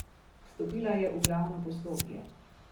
Vstopila je v glavno poslopje.